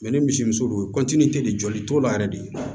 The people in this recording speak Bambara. ni misimuso don de jɔli t'o la yɛrɛ de